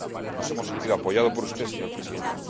meses. Nos hemos sentido apoyados por usted, señor Presidente.